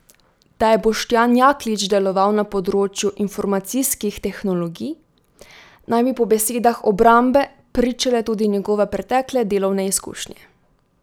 Da je Boštjan Jaklič deloval na področju informacijskih tehnologij, naj bi po besedah obrambe pričale tudi njegove pretekle delovne izkušnje.